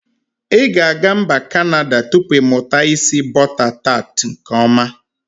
I ga aga mba kanada tupu imuta isi bọta tat nke ọma.